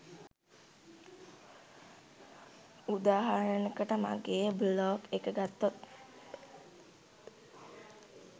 උදාහරනයකට මගේ බ්ලොග් එක ගත්තොත්